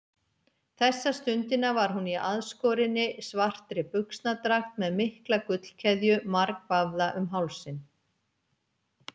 Þessa stundina var hún í aðskorinni, svartri buxnadragt með mikla gullkeðju margvafða um hálsinn.